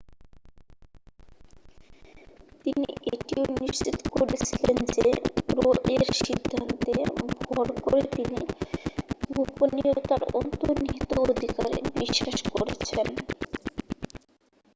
তিনি এটিও নিশ্চিত করেছিলেন যে রো-এর সিদ্ধান্তে ভর করে তিনি গোপনীয়তার অন্তর্নিহিত অধিকারে বিশ্বাস করেছেন